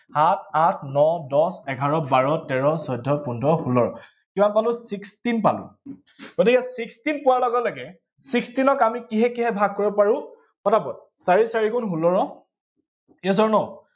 সাত আঠ ন দহ এঘাৰ বাৰ তেৰ চৌধ্য পোন্ধৰ ষোল্ল, কিমান পালো, sixteen পালো, গতিকে sixteen পোৱাৰ লগে লগে sixteen ক আমি কিহে কিহে ভাগ কৰিব পাৰো, পটাপট, চাৰি চাৰি গুণ ষোল্লৰ এজনৰ